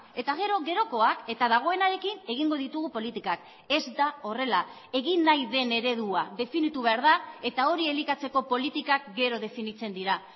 eta gero gerokoak eta dagoenarekin egingo ditugu politikak ez da horrela egin nahi den eredua definitu behar da eta hori elikatzeko politikak gero definitzen dira